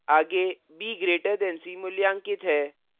आगे b> c मूल्यांकित है